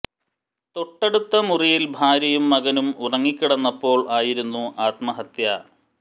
തൊട്ടടുത്ത മുറിയിൽ ഭാര്യയും മകനും ഉറങ്ങി കിടന്നപ്പോൾ ആയിരുന്നു ആത്മഹത്യ